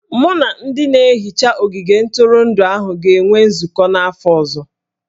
Mụ na ndị na-ehicha ogige ntụrụndụ ahụ ga-enwe nzụkọ n'afọ ọzọ